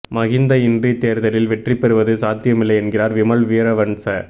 மஹிந்த இன்றி தேர்தலில் வெற்றி பெறுவது சாத்தியமில்லை என்கிறார் விமல் வீரவன்ஸ